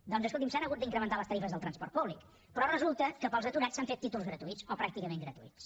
doncs escolti’m s’han hagut d’incrementar les tarifes del transport públic però resulta que per als aturats s’han fet títols gratuïts o pràcticament gratuïts